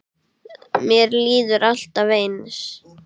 Mér líður alltaf eins.